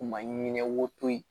U ma ɲinɛ wo koyi